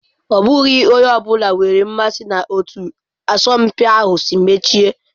Ọ bụghị onye ọ bụla nwere mmasị na etu asọmpi ahụ si mechie.